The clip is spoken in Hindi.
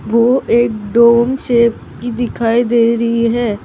वो एक शेप की दिखाई दे रही है।